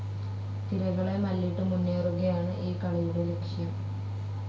തിരകളെ മല്ലിട്ട് മുന്നേറുകയാണ് ഈ കളിയുടെ ലക്ഷ്യം.